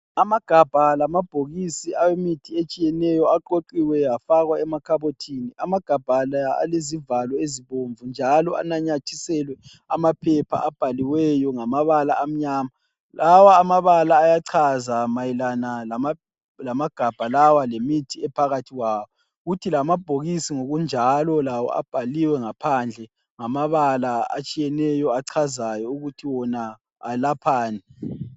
Amagabha lamabhokisi awemithi etshiyeneyo, aqoqiwe afakwa emakhabothini. Amagabha la, alezivalo ezibomvu, njalo ananyathiselwe amaphepha abhaliweyo ngamabala amnyama. Lawa amabala ayachaza mayelanana lamagabha lawa , lemithi ephakathi kwawo. Kuthi lamabhokisi ngokunjalo, lawo abhaliwe ngaphandle, ngamabala atshiyeneyo, achazayo ukuthi wona alaphani.